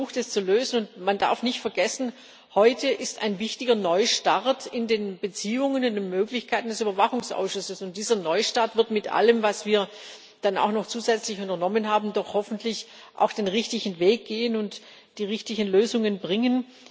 Wir haben versucht, es zu lösen, und man darf nicht vergessen Heute ist ein wichtiger Neustart in den Beziehungen, in den Möglichkeiten des Überwachungsausschusses, und dieser Neustart wird mit allem, was wir dann auch noch zusätzlich unternommen haben, doch hoffentlich auch den richtigen Weg gehen und die richtigen Lösungen bringen.